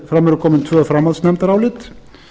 fram eru komin tvö framhaldsnefndarálit